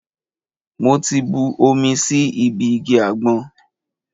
Mo ti bu omi sí ibi igi àgbọn.